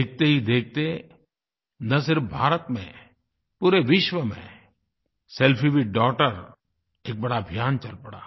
देखते ही देखते न सिर्फ़ भारत में पूरे विश्व में सेल्फी विथ डॉगटर एक बड़ा अभियान चल पड़ा